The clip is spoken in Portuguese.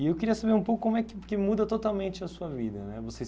E eu queria saber um pouco como é que que muda totalmente a sua vida né. Vocês